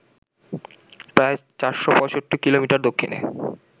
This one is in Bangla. প্রায় ৪৬৫ কিলোমিটার দক্ষিণে